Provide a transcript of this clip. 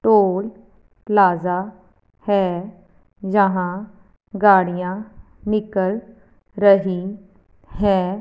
Toll plaza है जहां गाड़ियां निकल रही हैं।